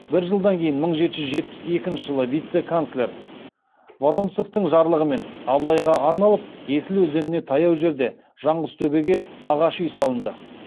бір жылдан кейін мың жеті жүз жетпіс бесінші жылы вице канцлер воронцовтың жарлығымен абылайға арналып есіл өзеніне таяу жерде жаңғызтөбеге ағаш үй салынды